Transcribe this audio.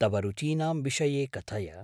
तव रुचीनां विषये कथय।